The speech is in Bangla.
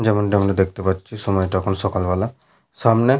যেমনটা আমরা দেখতে পাচ্ছি সময়টা এখন সকালবেলা। সামনে --